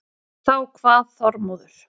Þá kvað Þormóður